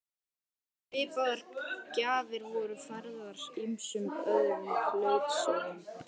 Svipaðar gjafir voru færðar ýmsum öðrum klaustrum.